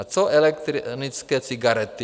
A co elektronické cigarety?